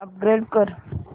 upgrade कर